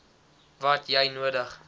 wat jy nodig